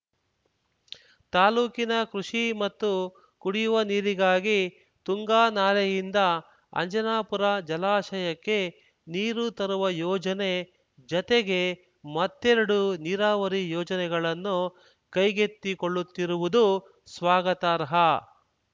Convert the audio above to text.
ತಾಲ್ಲೂಕಿನ ಕೃಷಿ ಮತ್ತು ಕುಡಿಯುವ ನೀರಿಗಾಗಿ ತುಂಗಾ ನಾಲೆಯಿಂದ ಅಂಜನಾಪುರ ಜಲಾಶಯಕ್ಕೆ ನೀರು ತರುವ ಯೋಜನೆ ಜತೆಗೆ ಮತ್ತೆರಡು ನೀರಾವರಿ ಯೋಜನೆಗಳನ್ನು ಕೈಗೆತ್ತಿಕೊಳ್ಳುತ್ತಿರುವುದು ಸ್ವಾಗತಾರ್ಹ